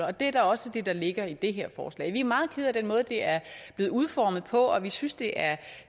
og det er da også det der ligger i det her forslag vi er meget kede af den måde det er blevet udformet på og vi synes det er